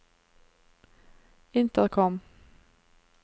intercom